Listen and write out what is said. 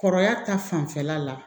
Kɔrɔya ta fanfɛla la